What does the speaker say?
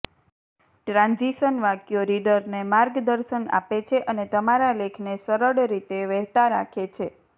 transition વાક્યો રીડરને માર્ગદર્શન આપે છે અને તમારા લેખને સરળ રીતે વહેતા રાખે છે